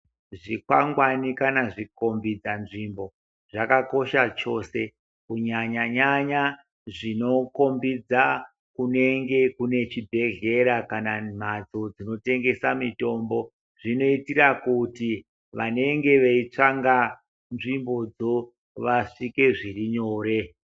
Chikwangwari kana chikombidza nzvimbo zvakakosha chose kunyanya nyanya zvinokombidza kunemge kune chibhedhlera kana mbatso dzinoyengesa mutombo kuitira kuti vanenge veitsvaka nzvimbo dzo vasvike zvirinyore.